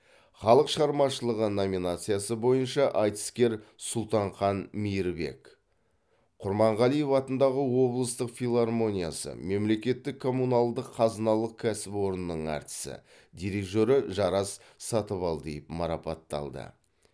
халық шығармашылығы номинациясы бойынша айтыскер сұлтанхан мейірбек құрманғалиев атындағы облыстық филармониясы мемлекеттік коммуналдық қазыналық кәсіпорнының әртісі дирижері жарас сатыбалдиев марапатталды